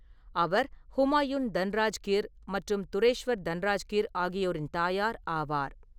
அவர் ஹுமாயூன் தன்ராஜ்கிர் மற்றும் துரேஷ்வர் தன்ராஜ்கிர் ஆகியோரின் தாயார் ஆவார்.